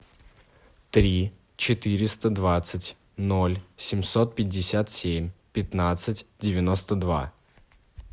три четыреста двадцать ноль семьсот пятьдесят семь пятнадцать девяносто два